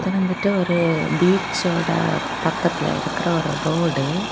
வந்துட்டு ஒரு பீச்சோட பக்கத்துல இருக்கிற ஒரு ரோடு .